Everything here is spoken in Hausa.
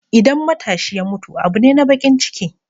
Idan matashi ya mutu abu ne na baƙin ciki.